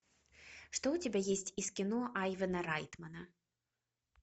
что у тебя есть из кино айвана райтмана